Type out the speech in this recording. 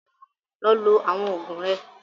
Lọ lo àwọn òògùn rẹ!